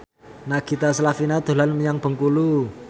Nagita Slavina dolan menyang Bengkulu